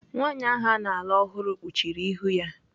Nwaanyị ahụ ana alụ ọhụrụ kpuchiri ihu ya.